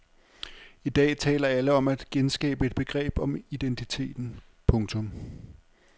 I dag taler alle om at genskabe et begreb om identiteten. punktum